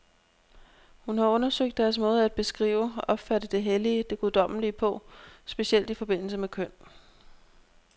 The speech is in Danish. Hun har undersøgt deres måde at beskrive, opfatte det hellige, det guddommelige på, specielt i forbindelse med køn.